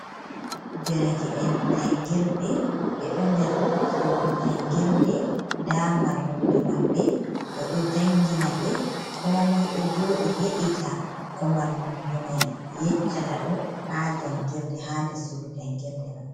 Dereke'en jangirde ɓeɗo nder sudu jangirde, nda mallumjo maɓɓe oɗo jangina ɓe, ko moi ɗo joɗi heɗita ko mallumjo mai yeccata ɗum ha jangirde ha nder sudu jangirde mai.